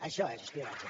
això és espionatge